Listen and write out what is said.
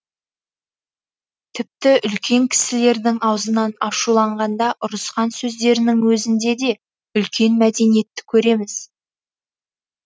тіпті үлкен кісілердің аузынан ашуланғанда ұрысқан сөздерінің өзінде де үлкен мәдениетті көреміз